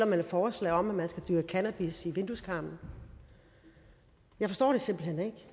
man et forslag om at man skal dyrke cannabis i vindueskarmen jeg forstår det simpelt hen ikke